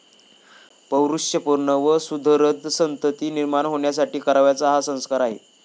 पौरुषपूर्ण व सुधरध संतती निर्माण होण्यासाठी करावयाचा हा संस्कार आहे.